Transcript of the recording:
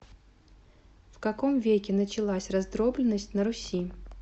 в каком веке началась раздробленность на руси